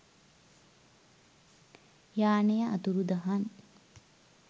යානය අතුරුදහන්